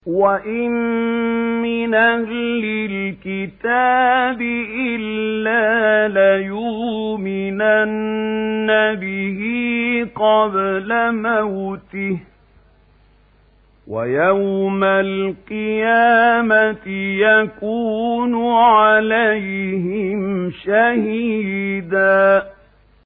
وَإِن مِّنْ أَهْلِ الْكِتَابِ إِلَّا لَيُؤْمِنَنَّ بِهِ قَبْلَ مَوْتِهِ ۖ وَيَوْمَ الْقِيَامَةِ يَكُونُ عَلَيْهِمْ شَهِيدًا